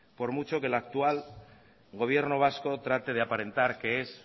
por mucho que el actual gobierno vasco trate de aparentar que es